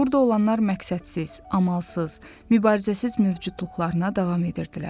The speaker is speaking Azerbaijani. Burda olanlar məqsədsiz, amalsız, mübarizəsiz mövcudluqlarına davam edirdilər.